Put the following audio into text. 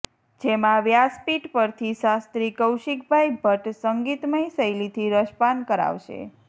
જેમાં વ્યાસપીઠ પરથી શાસ્ત્રી કૌશિકભાઈ ભટ્ટ સંગીતમય શૈલીથી રસપાન કરાવશે